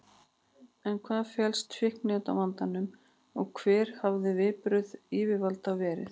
En hvað felst í fíkniefnavandanum og hver hafa viðbrögð yfirvalda verið?